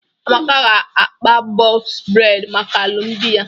Amaka ga-akpa bọks bredi maka alumdi ya.